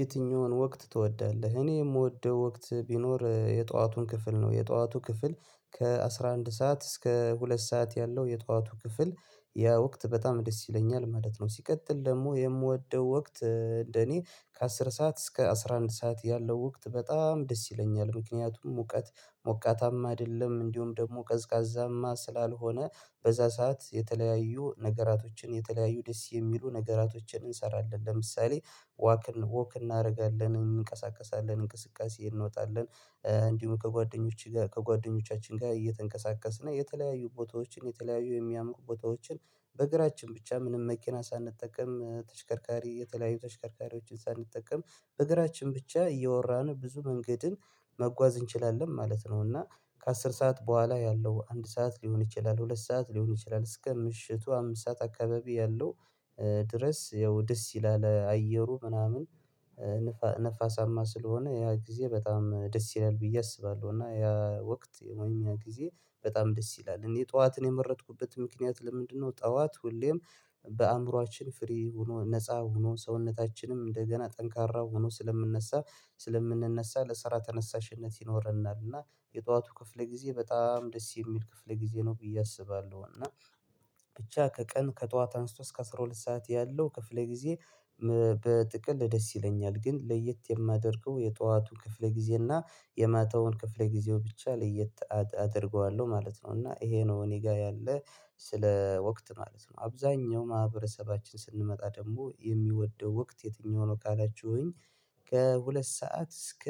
የትኛውን ወቅት ትወዳለህ? እኔ የምወደው ወቅት ቢኖር የጠዋቱን ክፍል ነው የጠዋቱ ክፍል ከአሥራ አንድ ሰዓት እስከ ሁለት ሰዓት ያለው የጧቱ ክፍል ያ ወቅት በጣም ደስ ይለኛል ማለት ነው ሲቀጥል ደግሞ የምወደው ወቅት እንደኔ ከአስር ሰዓት እስከ አስራ አንድ ሰዓት ያለው ወቅት በጣም ደስ ይለኛል ምክንያቱም ሙቀት ሞቃታማ አይደለም እንዲሁም ደግሞ ቀዝቃዛማ ስላልሆነ በዛ ሰዓት የተለያዩ ነገራቶችን የተለያዩ ደስ የሚሉ ነገራቶችን እንሰራለን ለምሳሌ ዋክን ዎክ እናደርጋለን እንንቀሳቀሳለን እንቅስቃሴ እንወጣለን እንዲሁም ከጓደኞቼ ጋር ከጓደኞቻችን ጋር እየተንቀሳቀስን የተለያዩ ቦታዎችን የተለያዩ የሚያምኑ ቦታዎችን በእግራችን ብቻ ምንም መኪና ሳንጠቀም ተሽከርካሪ የተለያዩ ተሽከርካሪዎችን ሳንጠቀም በእግራችን ብቻ እየወራን ብዙ መንገድን መጓዝ እንችላለን ማለት ነው እና ከአስር ሰዓት በኋላ ያለው አንድ ሰዓት ሊሆን ይችላል ሁለት ሰዓት ሊሆን ይችላል እስከ ምሽቱ አምስት ሰዓት አካባቢ ያለው ድረስ ያው ደስ ይላል አየሩ ምናምን ንፋሳማ ስለሆነ ያ ጊዜ በጣም ደስ ይላል ብዬ አስባለሁ እና ያ ወቅት ወይም ያ ጊዜ በጣም ደስ ይላል እኔ ጠዋትን የመረጥኩበት ምክንያት ለምንድነው ጠዋት ሁሌም በአእምሮአችን ፍሬ ሆኖ ነፃ ሆኖ ሰውነታችንም እንደገና ጠንካራ ሆኖ ስለምንነሳ ስለምንነሳ ለስራ ተነሳሽነት ይኖረናል እና የጠዋቱ ክፍለ ጊዜ በጣም ደስ የሚል ክፍለ ጊዜ ነው ብዬ አስባለሁ እና ብቻ ከቀን ከጠዋት አንስቶ እስከ አስራ ሁለት ሰዓት ያለው ክፍለ ጊዜ በጥቅል ደስ ይለኛል ግን ለየት የማደርገው የጧቱን ክፍለ ጊዜ እና የማታውን ክፍለ ጊዜው ብቻ ለየት አደር አደርገዋለሁ ማለት ነው እና ይሄ ነው እኔ ጋር ያለ ስለ ወቅት ማለት ነው አብዛኛው ማህበረሰባችን ስንመጣ ደግሞ የሚወደው ወቅት የትኛው ነው ካላችሁኝ ከሁለት ሰዓት እስከ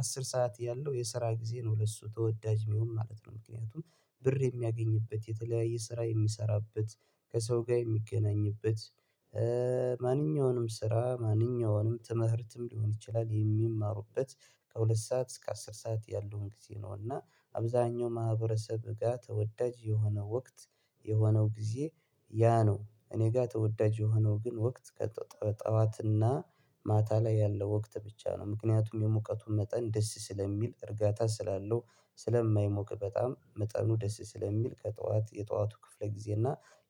አስር ሰዓት ያለው የስራ ጊዜ ነው ለሱ ተወዳጅ የሚሆን ማለት ነው ምክንያቱም ብር የሚያገኝበት የተለያየ ስራ የሚሰራበት ከሰው ጋር የሚገናኝበት ማንኛውንም ስራ ማንኛውንም ትምህርትም ሊሆን ይችላል የሚማሩበት ከሁለት ሰዓት እስከ አስር ሰዓት ያለውን ጊዜ ነው እና አብዛኛው ማህበረሰብ ጋር ተወዳጅ የሆነ ወቅት የሆነው ጊዜ ያ ነው እኔ ጋር ተወዳጅ የሆነው ግን ወቅት ከጠዋትና ማታ ላይ ያለው ወቅት ብቻ ነው ምክንያቱም የሙቀቱን መጠን ደስ ስለሚል እርጋታ ስላለው ስለማይሞቅ በጣም መጠኑ ደስ ስለሚል ከጠዋት የጠዋቱ ክፍለ ጊዜ እና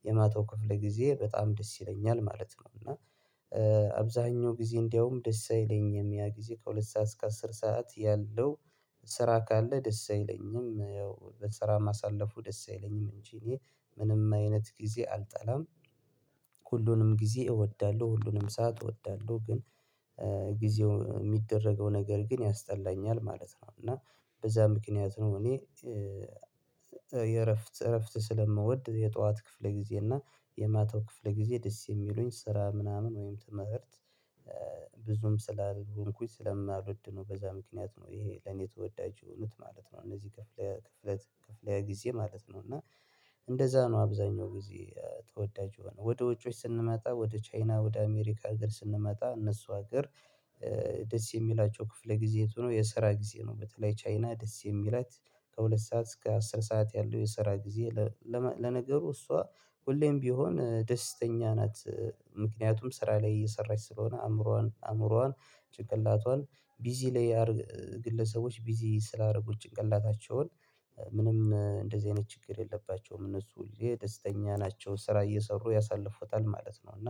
የማታው ክፍል ጊዜ በጣም ደስ ይለኛል ማለት ነው እና አብዛኛው ጊዜ እንደውም ደስ አይለኝም ያ ጊዜ ከሁለት ሰዓት እስከ አስር ሰዓት ያለው ስራ ካለ ደስ አይለኝም ያው በስራ ማሳለፉ ደስ አይለኝም እንጂ እኔ ምንም አይነት ጊዜ አልጠላም ሁሉንም ጊዜ እወዳለሁ ሁሉንም ሰዓት እወዳለሁ ግን ጊዜው የሚደረገው ነገር ግን ያስጠላኛል ማለት ነው እና በዛ ምክንያት ነው እኔ የእረፍት እረፍት ስለምወድ የጠዋት ክፍል ጊዜ እና የማታው ክፍል ጊዜ ደስ የሚሉኝ ስራ ምናምን ወይም ትምህርት ብዙም ስላልሆንኩኝ ስለማልወድ ነው በዛ ምክንያት ነው ይሄ ለኔ ተወዳጅ የሆኑት ማለት ነው እነዚህ ክፍለ ክፍለ ክፍለ ጊዜ ማለት ነው እና እንደዛ ነው አብዛኛው ጊዜ ተወዳጅ የሆነ ወደ ውጮች ስንመጣ ወደ ቻይና ወደ አሜሪካ ሀገር ስንመጣ እነሱ ሀገር ደስ የሚላቸው ክፍለ ጊዜ የት ሆኖ የሰራ ጊዜ ነው በተለይ ቻይና ደስ የሚላት ከሁለት ሰዓት እስከ አስር ሰዓት ያለው የስራ ጊዜ ለነገሩ እሷ ሁሌም ቢሆን ደስተኛ ናት ምክንያቱም ስራ ላይ እየሰራች ስለሆነ አእምሮዋን አእምሮዋን ጭንቅላቷን ቢዚ ላይ ያርግ ግለሰቦች ቢዚ ስላደረጉት ጭንቅላታቸውን ምንም እንደዚህ አይነት ችግር የለባቸውም እነሱ የደስተኛ ናቸው ስራ እየሰሩ ያሳልፉታል ማለት ነው እና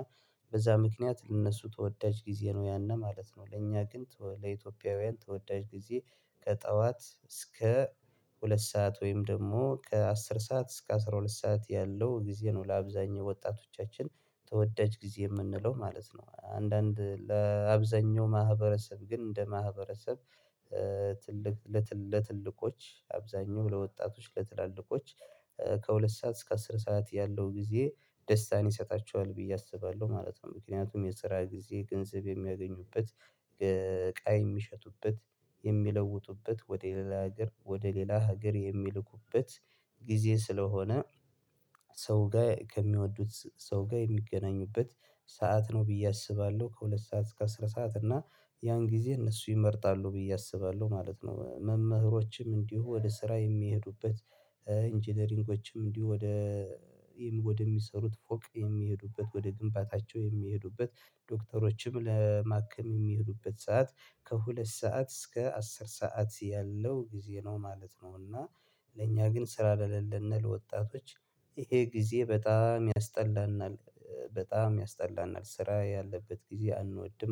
በዛ ምክንያት እነሱ ተወዳጅ ጊዜ ነው ያን ነው ማለት ነው ለእኛ ግን ለኢትዮጵያውያን ተወዳጅ ጊዜ ከጠዋት እስከ ሁለት ሰዓት ወይም ደግሞ ከአስር ሰዓት እስከ አስራ ሁለት ሰዓት ያለው ጊዜ ነው ለአብዛኛው ወጣቶቻችን ተወዳጅ ጊዜ የምንለው ማለት ነው አንዳንድ ለአብዛኛው ማህበረሰብ ግን እንደ ማህበረሰብ ትልቅ ለትልቆች አብዛኛው ለወጣቶች ለትላልቆች ከሁለት ሰዓት እስከ አስር ሰዓት ያለው ጊዜ ደስታን ይሰጣቸዋል ብዬ አስባለሁ ማለት ነው ምክንያቱም የሰራ ጊዜ ገንዘብ የሚያገኙበት እቃ የሚሸቱበት የሚለውጡበት ወደ ሌላ ሀገር ወደ ሌላ ሀገር የሚልኩበት ጊዜ ስለሆነ ሰው ጋር ከሚወዱት ሰው ጋር የሚገናኙበት ሰዓት ነው ብዬ አስባለሁ ከሁለት ሰዓት እስከ አስራ ሰዓት እና ያን ጊዜ እነሱ ይመርጣሉ ብዬ አስባለሁ ማለት ነው መምህሮችም እንዲሁ ወደ ስራ የሚሄዱበት ኢንጂነሪንጎችም እንዲሁ ወደ ወደሚሰሩት ፎቅ የሚሄዱበት ወደ ግንባታቸው የሚሄዱበት ዶክተሮችም ለማከም የሚሄዱበት ሰዓት ከሁለት ሰዓት እስከ አስር ሰዓት ያለው ጊዜ ነው ማለት ነው እና ለእኛ ግን ስራ ለለለነ ለወጣቶች ይሄ ጊዜ በጣም ያስጠላናል በጣም ያስጠላናል ስራ ያለበት ጊዜ አንወድም